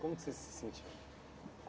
Como você se sentiu?